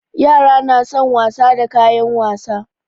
Yara na son wasa da kayan wasa.